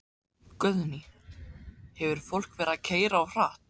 Guðný: Hefur fólk verið að keyra of hratt?